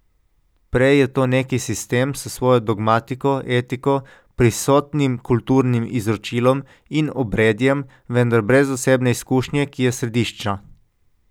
Prej je to neki sistem s svojo dogmatiko, etiko, prisotnim kulturnim izročilom in obredjem, vendar brez osebne izkušnje, ki je središčna.